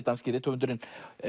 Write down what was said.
danski rithöfundurinn en